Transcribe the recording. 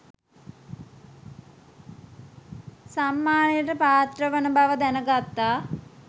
සම්මානයට පාත්‍රවන බව දැන ගත්තා